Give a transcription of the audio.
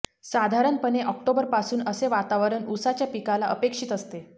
साधारणपणे ऑक्टोबरपासून असे वातावरण उसाच्या पिकाला अपेक्षित असते